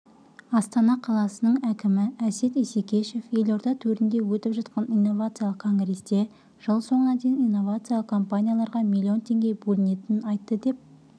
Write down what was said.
астана қаласының әкімі әсет исекешев елорда төрінде өтіп жатқан инновациялық конгрессте жыл соңына дейін инновациялық компанияларға млн теңге бөлінетінін айтты деп